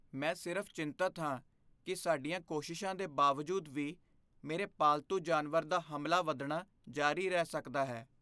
ਮੈਂ ਸਿਰਫ਼ ਚਿੰਤਤ ਹਾਂ ਕਿ ਸਾਡੀਆਂ ਕੋਸ਼ਿਸ਼ਾਂ ਦੇ ਬਾਵਜੂਦ ਵੀ, ਮੇਰੇ ਪਾਲਤੂ ਜਾਨਵਰ ਦਾ ਹਮਲਾ ਵਧਣਾ ਜਾਰੀ ਰਹਿ ਸਕਦਾ ਹੈ।